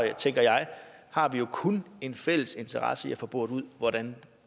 jo tænker jeg kun en fælles interesse i at få boret ud hvordan